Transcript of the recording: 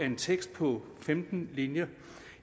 en tekst på femten linjer